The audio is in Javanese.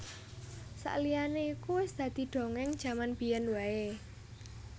Saliyane iku wis dadi dongeng jaman biyen wae